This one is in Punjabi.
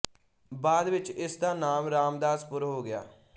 ਬਾਅਦ ਵਿੱਚ ਇਸ ਦਾ ਨਾਮ ਰਾਮਦਾਸਪੁਰ ਹੋ ਗਿਆ